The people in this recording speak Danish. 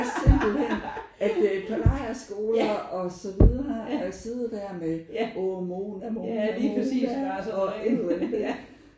Det er det simpelthen at øh på lejrskoler og så videre og sidde der med: Oh Mona Mona Mona og jeg ved ikke hvad